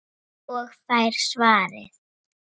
Og fær svarið